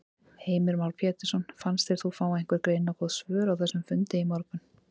Heimir Már Pétursson: Fannst þér þú fá einhver greinargóð svör á þessum fundi í morgun?